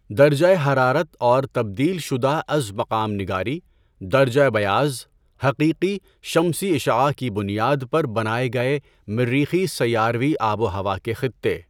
درجہ حرارت اور تبدیل شدہ از مقام نگاری، درجہ بیاض، حقیقی شمسی اشعاع کی بنیاد پر بنائے گئے مریخی سیاروی آب و ہوا کے خطّے